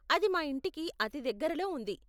అది మా ఇంటికి అతి దగ్గరలో ఉంది.